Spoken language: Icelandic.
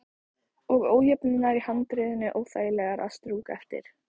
Og ójöfnurnar í handriðinu óþægilegar að strjúka eftir.